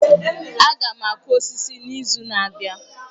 Aga m akụ osisi n'izu na-abịa